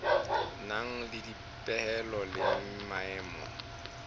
nang le dipehelo le maemo